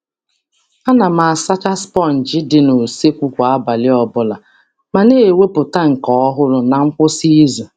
A na m asacha sponji dị n'useekwu kwa abalị ọbụla ma na - ewepụta nke ọhụrụ na nkwụsị izu.